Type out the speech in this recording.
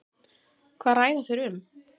Hvað ræða þeir um?